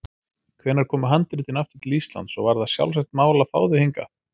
Hvenær komu handritin aftur til Íslands og var það sjálfsagt mál að fá þau hingað?